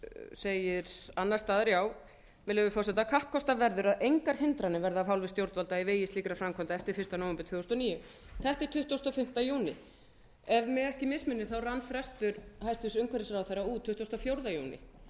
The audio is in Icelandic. segir annars staðar með leyfi forseta kappkostað verður að engar hindranir verða af hálfu stjórnvalda í vegi slíkra framkvæmda eftir fyrsta nóvember tvö þúsund og níu þetta er tuttugasti og fimmta júní ef mig ekki misminnir þá rann frestur hæstvirtur umhverfisráðherra út tuttugasta og fjórða